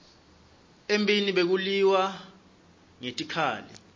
emphini bekuliwa ngetikhali